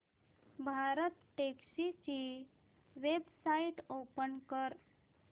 भारतटॅक्सी ची website open कर